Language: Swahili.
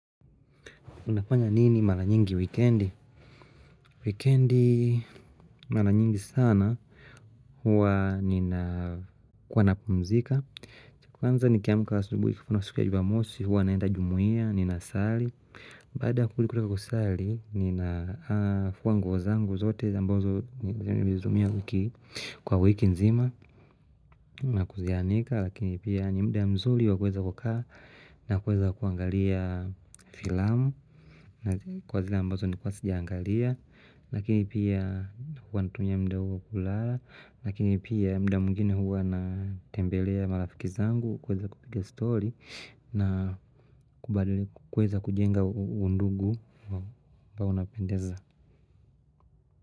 Unafanya nini mara nyingi wikendi? Wikendi mara nyingi sana huwa ninakuwa napumzika Kwanza nikiamu asubuhi siku ya jumamosi huwa naenda jumuia ninasali Baada kulikutoka kusali nina fua nguo zangu zote ambazo nilizitumia wiki kwa wiki nzima na kuzianika Lakini pia ni muda ya mzuli wakueza kukaa na kuweza kuangalia filamu Kwa zile ambazo nilikuwa sijaangalia, lakini pia huwa natumia muda huwa kulala, lakini pia muda mwingine huwa natembelea marafiki zangu kuweza kupiga stori na kweza kujenga undugu ambao unapendeza.